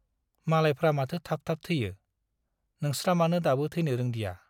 मालायफ्रा माथो थाब थाब थैयो , नोंस्रा मानो दाबो थैनो रोंदिया ?